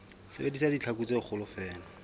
sebedisa ditlhaku tse kgolo feela